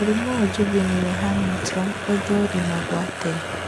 Mũrimũ wa Juvenile Huntington ũthũrimagwo atĩa ?